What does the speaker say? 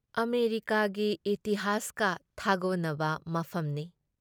ꯑꯃꯦꯔꯤꯀꯥꯒꯤ ꯏꯇꯤꯍꯥꯁꯀ ꯊꯥꯒꯣꯟꯅꯕ ꯃꯐꯝꯅꯤ ꯫